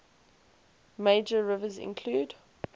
major rivers include